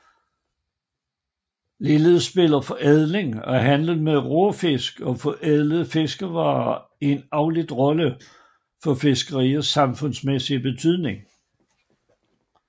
Ligeledes spiller forædling og handel med råfisk og forædlede fiskevarer en afledt rolle for fiskeriets samfundsmæssige betydning